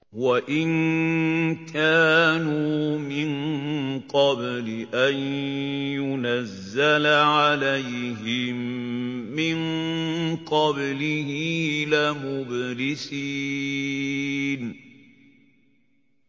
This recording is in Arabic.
وَإِن كَانُوا مِن قَبْلِ أَن يُنَزَّلَ عَلَيْهِم مِّن قَبْلِهِ لَمُبْلِسِينَ